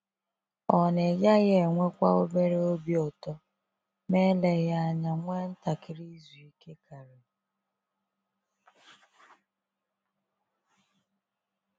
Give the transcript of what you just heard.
Ọ̀ na ịgaghị enwekwa obere obi ụtọ, ma eleghị anya nwee ntakịrị izu ike karị?